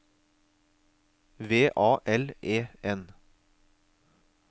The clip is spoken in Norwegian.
V A L E N